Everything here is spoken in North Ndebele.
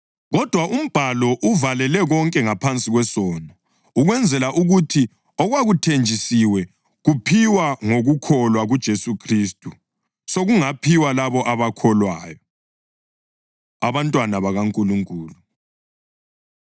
Kodwa umbhalo uvalele konke ngaphansi kwesono, ukwenzela ukuthi okwakuthenjisiwe, kuphiwa ngokukholwa kuJesu Khristu, sokungaphiwa labo abakholwayo. Abantwana BakaNkulunkulu